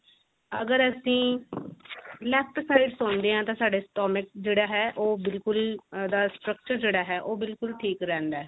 ਅਗਰ ਅਸੀਂ left ਸੋਂਦੇ ਆਂ ਤਾਂ ਸਾਡੇ stomach ਜਿਹੜਾ ਹੈ ਉਹ ਬਿਲਕੁਲ ਉਹਦਾ structure ਜਿਹੜਾ ਹੈ ਉਹ ਬਿਲਕੁਲ ਠੀਕ ਰਿਹੰਦਾ